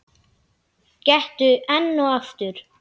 Gettu enn og aftur.